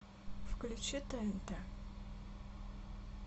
включи тнт